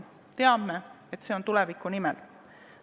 Me teame, et see on tuleviku nimel.